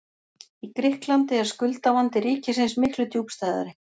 Í Grikklandi er skuldavandi ríkisins miklu djúpstæðari.